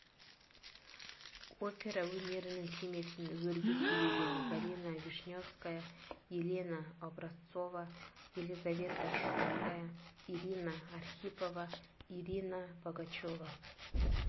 опера өнерінің кемесін өрге сүйреген галина вишневская елена образцова елизавета шумская ирина архипова ирина богачева